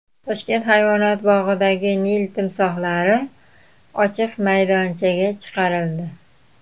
Toshkent hayvonot bog‘idagi Nil timsohlari ochiq maydonchaga chiqarildi.